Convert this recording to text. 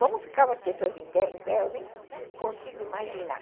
Como ficavam as pessoas em pé, eu nem consigo imaginar.